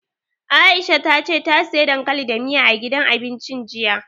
Aisha ta ce ta siya dankali da miya, a gidan abincin jiya.